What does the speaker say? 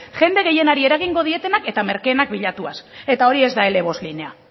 jende gehienari eragingo dietenak eta merkeenak bilatuaz eta hori ez da ele bost linea